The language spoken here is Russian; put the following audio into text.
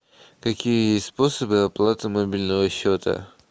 какие есть способы оплаты мобильного счета